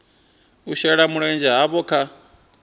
u shela mulenzhe havho kha